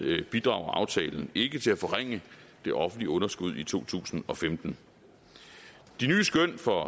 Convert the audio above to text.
bidrager aftalen ikke til at forringe det offentlige underskud i to tusind og femten de nye skøn for